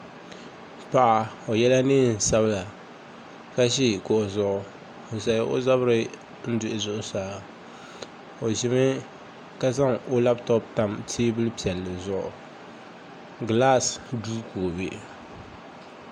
Paɣa o yɛla neen sabila ka ʒi kuɣu zuɣu n zaŋ o zabiri duhi zuɣusaa o ʒimi ka zaŋ o labtop tam teebuli piɛlli zuɣu gilaas duu ka o bɛ